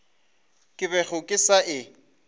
ke bego ke sa e